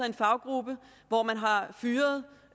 en faggruppe hvor man har fyret